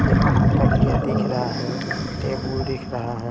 एक तकिया दिख रहा है टेबुल दिख रहा है।